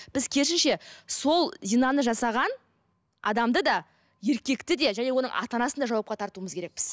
біз керісінше сол зинаны жасаған адамды да еркекті де және оның ата анасын да жауапқа тартуымыз керекпіз